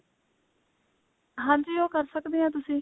ਹਾਂਜੀ ਉਹ ਕਰ ਸਕਦੇ ਹੋ ਤੁਸੀਂ